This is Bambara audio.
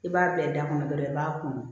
I b'a bila da kɔnɔ dɔrɔn i b'a kunun